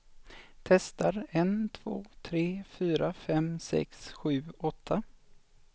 Testar en två tre fyra fem sex sju åtta.